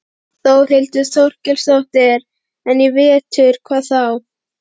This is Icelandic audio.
Þórhildur Þorkelsdóttir: En í vetur, hvað þá?